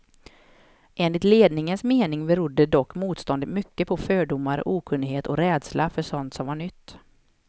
Enligt ledningens mening berodde dock motståndet mycket på fördomar, okunnighet och rädsla för sådant som var nytt.